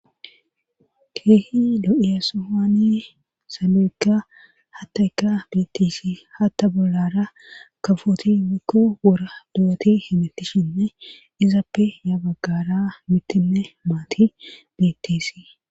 keehi lo7iyasohaani salo7ekka hatta ykka biittisi hatta bollara kafoti mikko wora du7ati himittishinne izappe yabaggara mittinne maati biittisi